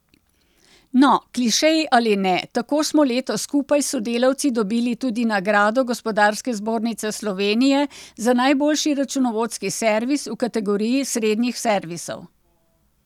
No, klišeji ali ne, tako smo letos skupaj s sodelavci dobili tudi nagrado Gospodarske zbornice Slovenije za najboljši računovodski servis v kategoriji srednjih servisov.